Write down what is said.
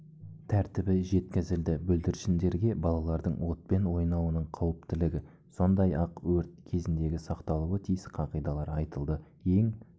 тәртібі жеткізілді бүлдіршіндерге балалардың отпен ойнауының қауіптілігі сондай-ақ өрт кезіндегі сақталуы тиіс қағидалар айтылды ең